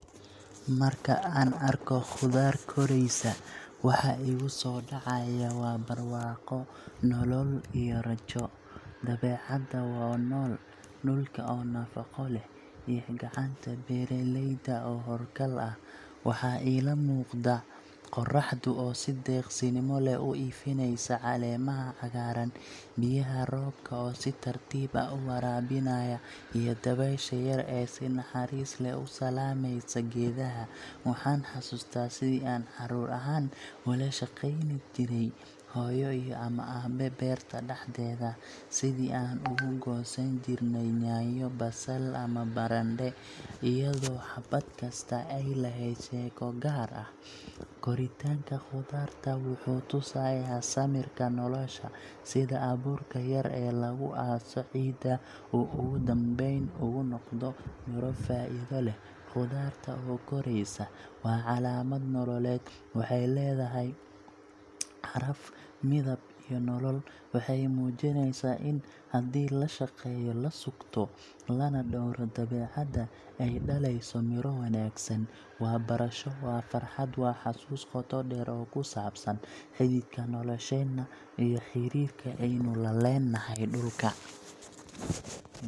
Marka aan arko khudaar koraysa, waxa igu soo dhacaya waa barwaaqo, nolol, iyo rajo. Dabeecadda oo nool, dhulka oo nafaqo leh, iyo gacanta beeraleyda oo hawlkar ah. Waxaa ila muuqda qorraxdu oo si deeqsinimo leh u ifinaysa caleemaha cagaaran, biyaha roobka oo si tartiib ah u waraabinaya, iyo dabaysha yar ee si naxariis leh u salaamaysa geedaha. Waxaan xasuustaa sidii aan caruur ahaan ula shaqayn jirnay hooyo ama aabbe beerta dhexdeeda, sidii aan uga goosan jirnay yaanyo, basal ama barandhe, iyadoo xabad kasta ay lahayd sheeko gaar ah. Koritaanka khudaarta wuxuu tusayaa samirka nolosha – sida abuurka yar ee lagu aaso ciidda uu ugu dambeyn ugu noqdo miro faa’iido leh. Khudaarta oo koraysa waa calaamad nololeed waxay leedahay caraf, midab, iyo nolol. Waxay muujinaysaa in haddii la shaqeeyo, la sugto, lana dhowro dabeecadda, ay dhalayso miro wanaagsan. Waa barasho, waa farxad, waa xasuus qoto dheer oo ku saabsan xididka nolosheena iyo xiriirka aynu la leenahay dhulka.